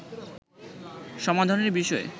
সমাধানের বিষয়ে